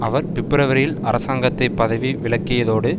அவர் பிப்பிரவரியில் அரசாங்கத்தை பதவி விலக்கியதோடு